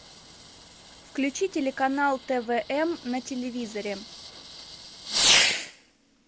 включи телеканал твм на телевизоре